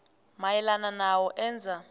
mayelana nalo enza